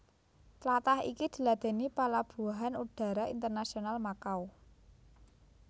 Tlatah iki diladèni Palabuhan Udara Internasional Makau